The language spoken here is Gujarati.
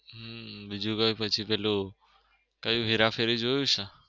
હમ બીજું કઈ પછી પેલું કયું હેરાફેરી જોયું છે?